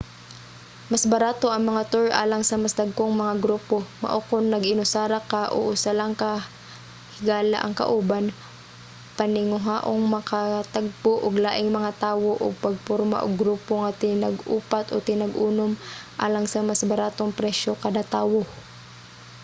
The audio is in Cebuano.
mas barato ang mga tour alang sa mas dagkong mga grupo mao kon nag-inusara ka o usa lang ka higala ang kauban paninguhaang makatagbo og laing mga tawo ug pagporma og grupo nga tinag-upat o tinag-unom alang sa mas baratong presyo kada tawo